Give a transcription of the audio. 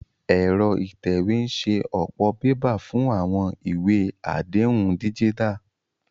Ẹ̀rọ ìtẹ̀wé ń ṣe ọ̀pọ̀ bébà fún àwọn ìwé àdéhùn díjítà